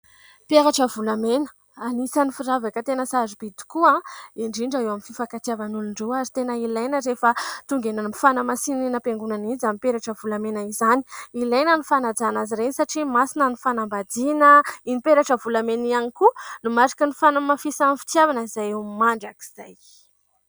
Peratra volamena. Anisany firavaka tena sarobidy tokoa indrindra eo amin'ny fifankatiavan'olon-droa ary tena ilaina rehefa tonga eny amin'ny fanamasinana eny am-piangonana iny izany peratra volamena izany. Ilaina ny fanajana azy ireny satria masina ny fanambadiana. Iny peratra volamena iny ihany koa no mariky ny fanamafisan'ny fitiavana izay eo amin'ny mandrakizay.